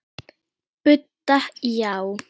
Budda: Já.